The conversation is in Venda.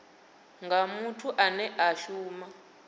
nga muthu ane a shuma